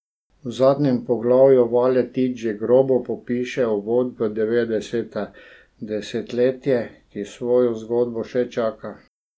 V zadnjem poglavju Valetič že grobo popiše uvod v devetdeseta, desetletje, ki svojo zgodbo še čaka.